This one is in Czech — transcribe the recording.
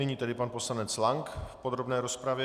Nyní tedy pan poslanec Lank v podrobné rozpravě.